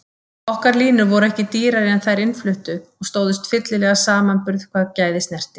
Okkar línur voru ekki dýrari en þær innfluttu og stóðust fyllilega samanburð hvað gæði snerti.